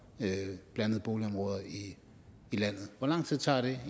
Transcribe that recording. blandede boligområder i landet hvor lang tid tager det